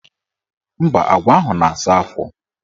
Mba, agwa ahụ na-asa afọ.